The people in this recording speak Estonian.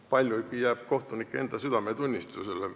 Palju jääb kohtunike oma südametunnistusele.